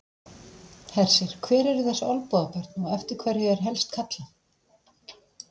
Hersir, hver eru þessi Olnbogabörn og eftir hverju er helst kallað?